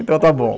Então está bom.